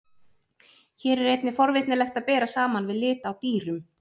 Hér er einnig forvitnilegt að bera saman við lit á dýrum.